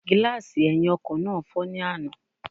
Gílààsì ẹ̀hìn ọkọ̀ náà fọ́ ní àná